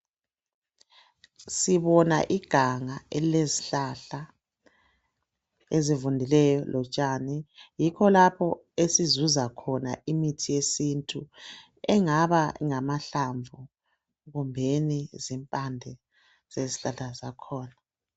Sibona iganga elilezihlahla, ezivundileyo lotshani. Yikho lapho esizuza khona imithi yesintu engaba ngamahlamvu kumbeni zimpande zezihlahla zakhona.